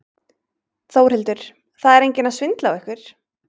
Þórhildur: Það er enginn að svindla á ykkur?